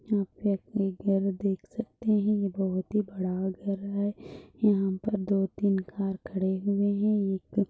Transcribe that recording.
यहाँ पे आप एक घर देख सकते हैं ये बहुत ही बड़ा घर है यहाँ पे दो तीन कार खड़े हुए है एक--